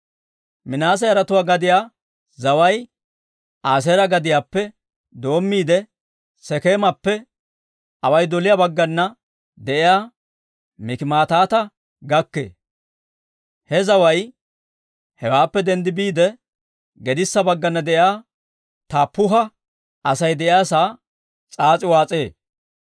Minaase yaratuu gadiyaa zaway Aaseera gadiyaappe doommiide, Sekeemappe away doliyaa baggana de'iyaa Mikimataata gakkee. He zaway hewaappe denddi biide, gedissa baggana de'iyaa Taappuha Asay de'iyaasaa s'aas'i waas'ee.